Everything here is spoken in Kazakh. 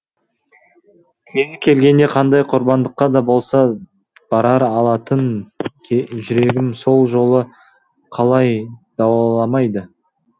кезі келгенде қандай құрбандыққа да болса бара алатын жүрегім сол жолы қалай дауаламады